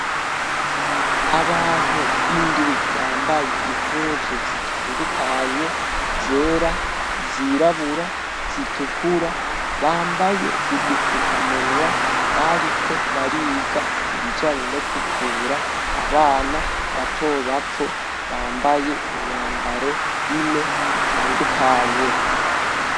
Abantu indwi bambaye impuzu zitandukanye zera, zirabura, zitukura bambaye udufukamunwa bariko bariga ibijanye no kuvura abana bato bato bambaye imyambaro ine itandukanye.